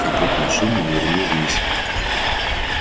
капот машины нырнул вниз